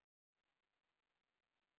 Ok, er hann ekki kúl?